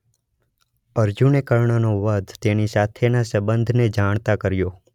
અર્જુને કર્ણનો વધ તેની સાથેના સંબંધને જાણતા કર્યો.